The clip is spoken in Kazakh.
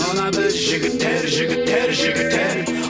мына біз жігіттер жігіттер жігіттер